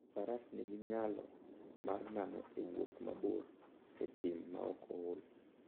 Faras nigi nyalo mar nano e wuoth mabor e thim maok ool.